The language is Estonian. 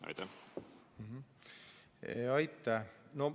Aitäh!